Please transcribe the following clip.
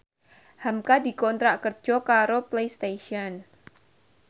hamka dikontrak kerja karo Playstation